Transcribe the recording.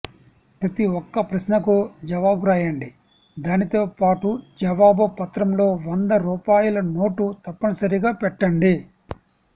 ప్రతి ఒక్క ప్రశ్నకు జవాబు రాయండి దానితో పాటు జవాబు పత్రంలో వంద రూపాయల నోటు తప్పనిసరిగా పెట్టండి